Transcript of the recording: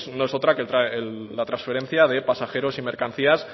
no es otra que la transferencia de pasajeros y mercancías